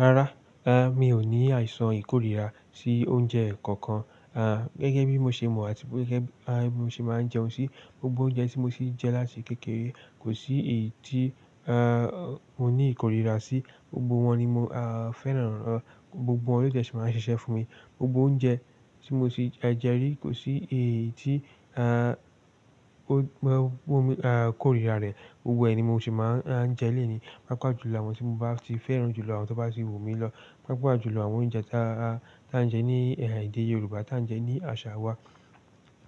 Rárá, eh mi ò ní àìsàn ìkórira sí oúnjẹ kankan. Ah gẹ́gẹ́ bí mo ṣe mọ̀ àti gẹ́gẹ́ bí mo ṣe máa ń jẹun ṣí, gbogbo oúnjẹ tí mo ti jẹ́ láti kékeré, kò sí èyí tí ah mo ní ìkórira sí. Gbogbo wọn ni mo ah fẹ́ràn ràn án, gbogbo wọn ló ti máa ń ṣiṣẹ́ fún mi. Gbogbo oúnjẹ tí mo ti jẹ rí kò sí èyí tí ah o gbe o mi ah kórira rẹ̀, gbogbo ẹni mo sì máa ń jẹ́ léèní. Pápá jù lọ àwọn tí mo bá ti fẹ́ràn jù lọ, àwọn tí ó bá ti wù mí lọ. Pápá jù lọ àwọn oúnjẹ ta ta jẹ́ ní ẹ̀hà èdè Yorùbá, tá jẹ́ ní àṣà wa.